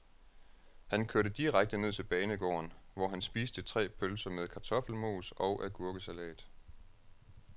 Han kørte direkte ned til banegården, hvor han spiste tre pølser med kartoffelmos og agurkesalat.